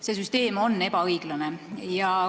See süsteem on ebaõiglane.